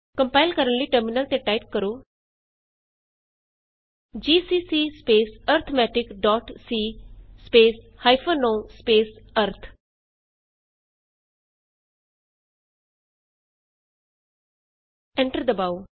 compile ਕਰਨ ਲਈ terminal ਤੇ ਟਾਈਪ ਕਰੋ GCC arithmetic c o arith GCC arithmeticਸੀ ਓ ਅਰਿਥ ਐਂਟਰ ਦਬਾਉ